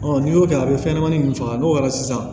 n'i y'o kɛ a bɛ fɛn ɲɛnɛmani faga n'o kɛra sisan